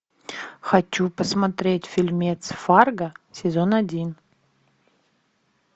хочу посмотреть фильмец фарго сезон один